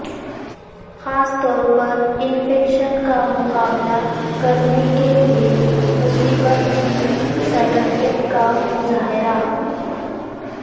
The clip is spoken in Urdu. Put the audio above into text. خاص طور پر انفیکشن کا مقابلہ کرنے کے لئے مصیبت کی صلاحیت کا مظاہرہ